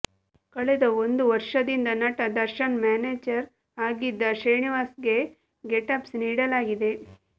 ಕಳೆದ ಒಂದು ವರ್ಷದಿಂದ ನಟ ದರ್ಶನ್ರ ಮ್ಯಾನೇಜರ್ ಆಗಿದ್ದ ಶ್ರೀನಿವಾಸ್ಗೆ ಗೇಟ್ಪಾಸ್ ನೀಡಲಾಗಿದೆ